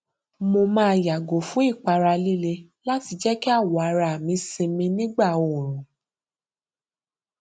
mo máa yàgò fún ìpara líle láti jẹ kí awọ ara mi sinmi nígbà oorun